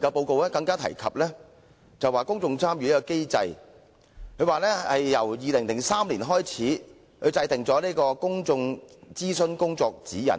報告更提及公眾參與機制，指政府自2003年制訂《公眾諮詢工作的指引》，